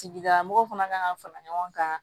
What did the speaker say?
Tigidala mɔgɔw fana kan ka fara ɲɔgɔn kan